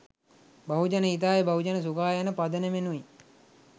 බහුජන හිතාය බහුජන සුඛාය යන පදනමිනුයි.